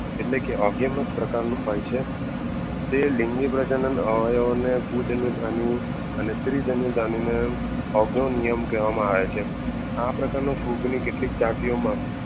એટલે કે ઓગીયમુસ પ્રકારનું હોય છે. તે લિંગી પ્રજનન અવયવ અને સ્ત્રી જાણ્યાજાની ને ઓગોનિયન્મ કહવા માં આવે છે.